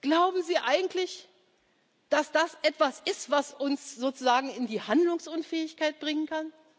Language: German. Zeiten. Glauben Sie eigentlich, dass das etwas ist, was uns sozusagen in die Handlungsunfähigkeit bringen